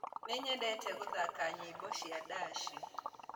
Nĩnyendete gũthaka nyĩmbo cia ndaci